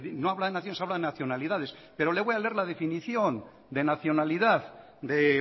no habla de naciones habla de nacionalidades pero le voy a leer la definición de nacionalidad de